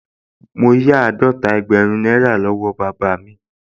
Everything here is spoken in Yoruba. Mo yá àádọ́ta ẹgbẹ̀rún náírà lọ́wọ́ bàbá mi